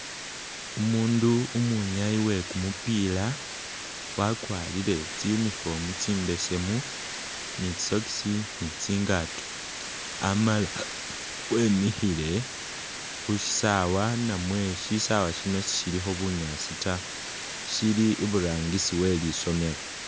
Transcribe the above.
Umundu umwinyayi we kumupiila wakwarile tsi uniform tsimbesemu ni tsisokisi ni tsingaato amala wemikhile khushisawa namwe shisawa shino sishilikho bunyaasi ta shili iburangisi we lisomelo.